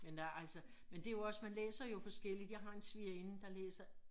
Men der altså men det også man læser jo forskelligt jeg har en svigerinde der læser